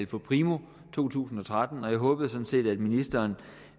primo to tusind og tretten og jeg håbede sådan set at ministeren